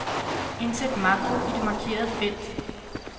Indsæt makro i det markerede felt.